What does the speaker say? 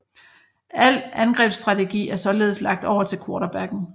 Alt angrebsstrategi er således lagt over til quaterbacken